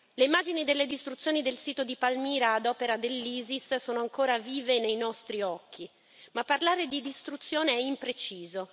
Le immagini delle distruzioni del sito di Palmira ad opera dell'Isis sono ancora vive nei nostri occhi, ma parlare di distruzione è impreciso.